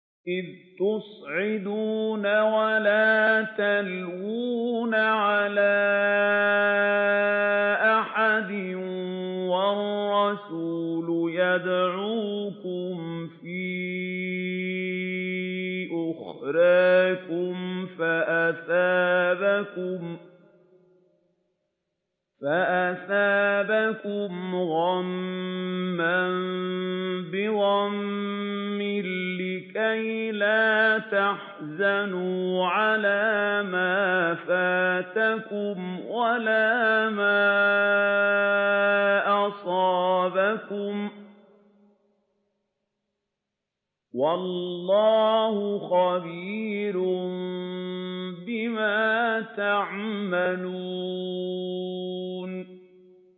۞ إِذْ تُصْعِدُونَ وَلَا تَلْوُونَ عَلَىٰ أَحَدٍ وَالرَّسُولُ يَدْعُوكُمْ فِي أُخْرَاكُمْ فَأَثَابَكُمْ غَمًّا بِغَمٍّ لِّكَيْلَا تَحْزَنُوا عَلَىٰ مَا فَاتَكُمْ وَلَا مَا أَصَابَكُمْ ۗ وَاللَّهُ خَبِيرٌ بِمَا تَعْمَلُونَ